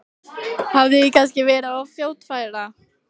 Hafði ég kannski verið of fljótfær?